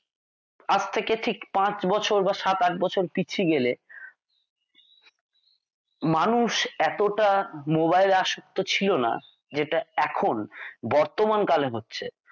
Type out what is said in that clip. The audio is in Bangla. আজ থেকে ঠিক পাঁচ বছর বা সাত আট বছর পিছিয়ে গেলে মানুষ এতটা মোবাইল আসক্ত ছিল না যেটা এখন বর্তমান কালে হচ্ছে।